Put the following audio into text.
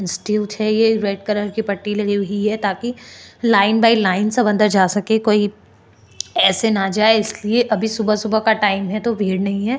Strip है यह red colour की पट्टी लगी हुई ताकि लाइन वाइज लाइन से सब अंदर जा सके कोई ऐसे ना जाये इसलिए अभी सुबह-सुबह का टाइम है तो भीड़ नहीं है।